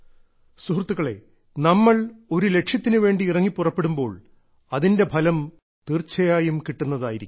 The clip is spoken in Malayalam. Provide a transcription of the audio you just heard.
സുഹൃത്തുക്കളെ നമ്മൾ ഒരു ലക്ഷ്യത്തിനുവേണ്ടി ഇറങ്ങി പുറപ്പെടുമ്പോൾ അതിന്റെ ഫലം തീർച്ചയായും കിട്ടുന്നതായിരിക്കും